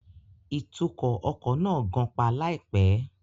Ìtukọ̀ ọkọ̀ náà gan-pa láìpẹ́